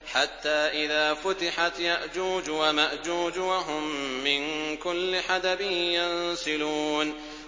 حَتَّىٰ إِذَا فُتِحَتْ يَأْجُوجُ وَمَأْجُوجُ وَهُم مِّن كُلِّ حَدَبٍ يَنسِلُونَ